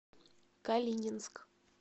калининск